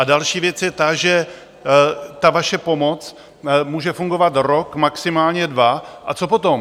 A další věc je ta, že ta vaše pomoc může fungovat rok maximálně dva - a co potom?